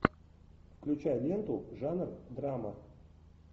включай ленту жанр драма